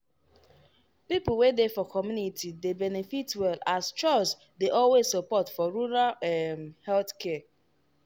people wey dey for community dey benefit well as chws dey always support for rural um health care.